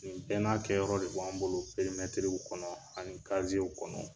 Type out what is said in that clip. Nin bɛɛ n'a kɛyɔrɔ de b'an bolo perimetiriw kɔnɔ ani kaziyew kɔnɔ.